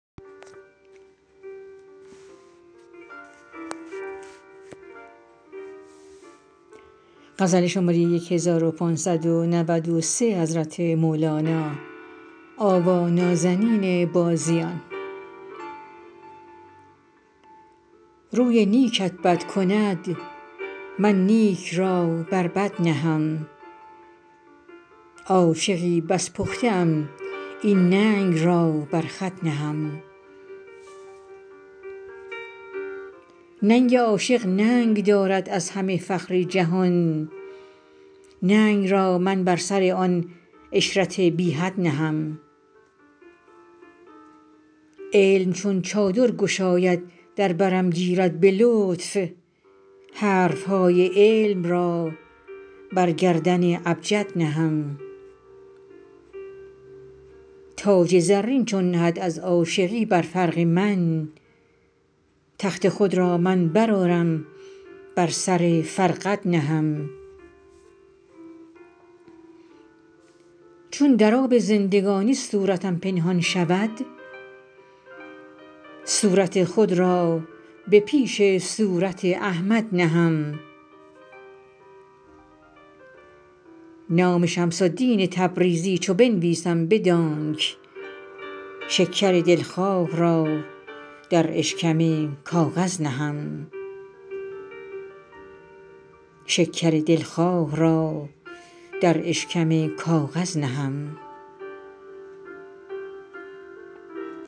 روی نیکت بد کند من نیک را بر بد نهم عاشقی بس پخته ام این ننگ را بر خود نهم ننگ عاشق ننگ دارد از همه فخر جهان ننگ را من بر سر آن عشرت بی حد نهم علم چون چادر گشاید در برم گیرد به لطف حرف های علم را بر گردن ابجد نهم تاج زرین چون نهد از عاشقی بر فرق من تخت خود را من برآرم بر سر فرقد نهم چون در آب زندگانی صورتم پنهان شود صورت خود را به پیش صورت احمد نهم نام شمس الدین تبریزی چو بنویسم بدانک شکر دلخواه را در اشکم کاغذ نهم